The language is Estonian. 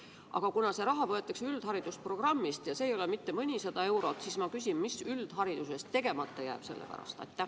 Aga kuna see raha võetakse üldharidusprogrammist ja see ei ole mitte mõnisada eurot, siis ma küsin, mis üldhariduses selle pärast tegemata jääb.